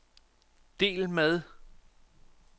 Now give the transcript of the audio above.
del med